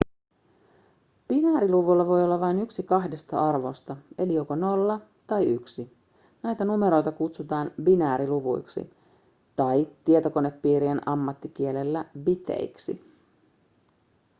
binääriluvulla voi olla vain yksi kahdesta arvosta eli joko 0 tai 1 näitä numeroita kutsutaan binääriluvuiksi tai tietokonepiirien ammattikielellä biteiksi